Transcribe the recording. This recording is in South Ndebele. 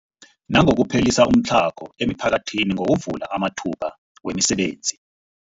Nangokuphelisa umtlhago emiphakathini ngokuvula amathuba wemisebenzi.